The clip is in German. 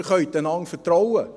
Sie können einander vertrauen.